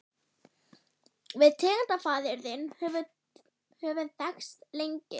Við tengdafaðir þinn höfum þekkst lengi.